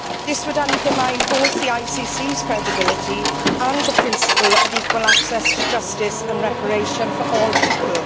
This would undermine both the ICC's credibility and the principle of equal access to justice and reparation for all people.